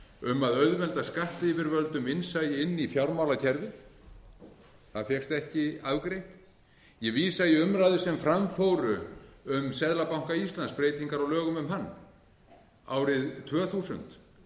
um að auðvelda skattyfirvöldum innsæi inn í fjármálakerfið það fékkst ekki afgreitt ég vísa í umræður sem fram fóru um seðlabanka íslands breytingar á lögum um hann árið tvö þúsund lögin tóku